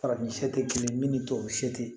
Farafin tɛ kelen ye min ni tubabu se tɛ